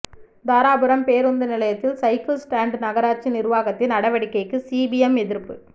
தாராபுரம் பேருந்து நிலையத்தில் cycle stand நகராட்சி நிர்வாகத்தின் நடவடிக்கைக்கு சிபிஎம் எதிர்ப்பு